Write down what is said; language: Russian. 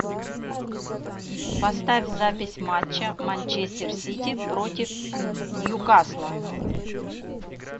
поставь запись матча манчестер сити против ньюкасла